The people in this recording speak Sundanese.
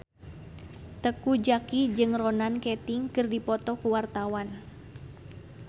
Teuku Zacky jeung Ronan Keating keur dipoto ku wartawan